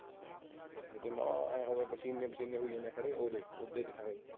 ਪਸੀਨੇ ਪਸੀਨੇ ਹੁਈ ਜਾਂਦੇ ਖੜੇ ਓਹਦੇ ਦੇਖਾਂਗੇ।